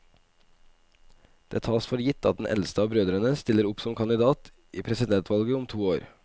Det tas for gitt at den eldste av brødrene stiller opp som kandidat i presidentvalget om to år.